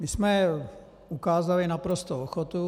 My jsme ukázali naprostou ochotu.